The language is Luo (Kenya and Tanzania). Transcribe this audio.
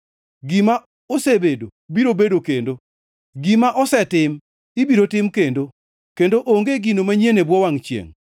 Gima osebedo biro bedo kendo, gima osetim ibiro tim kendo; kendo onge gino manyien e bwo wangʼ chiengʼ.